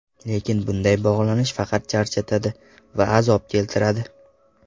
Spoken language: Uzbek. Lekin bunday bog‘lanish faqat charchatadi va azob keltiradi.